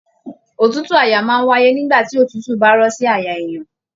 Òtútù àyà máa n wáyé nígbà tí òtútù bá rọ̀ sí àyà èèyàn.